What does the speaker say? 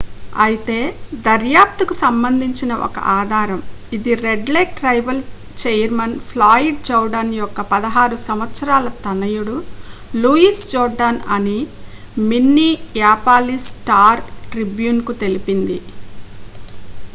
అయితే దర్యాప్తుకు సంబంధించిన ఒక ఆధారం ఇది Red Lake tribal chairman Floyd Jourdain యొక్క 16 సంవత్సరాల తనయుడు లూయిస్ జోర్డాన్ అని మిన్నియాపాలిస్ స్టార్-ట్రిబ్యూన్ కు తెలిపింది